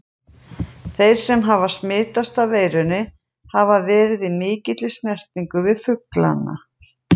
Þeir sem hafa smitast af veirunni hafa því verið í mikilli snertingu við fuglana.